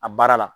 A baara la